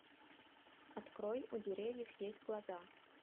открой у деревьев есть глаза